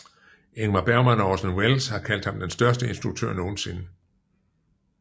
Ingmar Bergman og Orson Welles har kaldt ham den største instruktør nogensinde